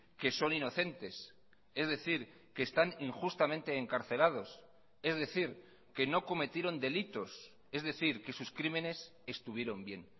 que son inocentes es decir que están injustamente encarcelados es decir que no cometieron delitos es decir que sus crímenes estuvieron bien